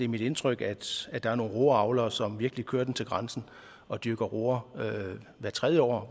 mit indtryk at der er nogle roeavlere som virkelig kører den til grænsen og dyrker roer hvert tredje år